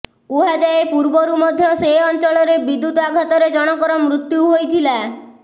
କୁହାଯାଏ ପୂର୍ବରୁ ମଧ୍ୟ ସେ ଅଂଚଳରେ ବିଦ୍ୟୁତ୍ ଆଘାତରେ ଜଣଙ୍କର ମୃତ୍ୟୁ ହୋଇଥିଲା